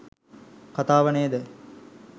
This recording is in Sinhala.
කතාව නේද?